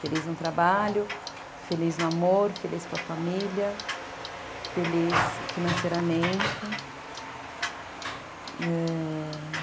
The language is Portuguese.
Feliz no trabalho, feliz no amor, feliz com a família, feliz financeiramente.